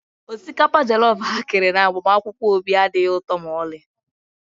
Osikapa jọllọf ha kere na agbamakwụkwọ Obi adịghị ụtọ ma ọlị